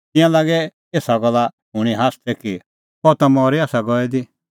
तिंयां लागै एसा गल्ला शूणीं हास्सदै कि अह ता मरी आसा गई दी